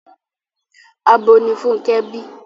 Abo ni Fúnkẹ́ bí.